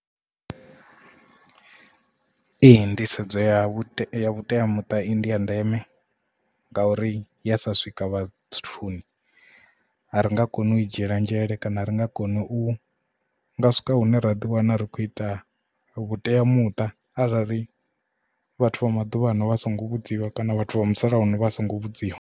Ee nḓisedzo ya vhuteamiṱa i ndi ya ndeme ngauri ya sa swika vhathuni ari nga koni u i dzhiela nzhele kana ari nga kona u nga swika hune ra ḓi wana ri khou ita vhuteamuṱa arali ri vhathu vha maḓuvhano vha songo vhudziwa kana vhathu vha musalauno vha songo vhudziwa.